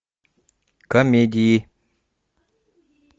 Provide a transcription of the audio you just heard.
комедии